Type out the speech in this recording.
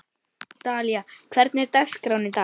Dalía, hvernig er dagskráin í dag?